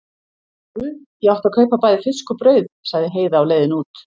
Guð, ég átti að kaupa bæði fisk og brauð, sagði Heiða á leiðinni út.